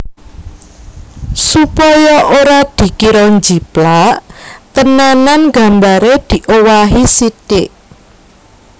Supaya ora dikira njiplak tenanan gambare diowahi sitik